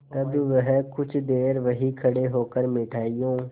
तब वह कुछ देर वहीं खड़े होकर मिठाइयों